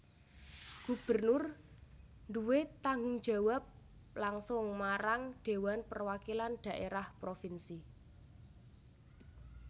Gubernur duwé tanggung jawab langsung marang Dhéwan Perwakilan Dhaérah Propinsi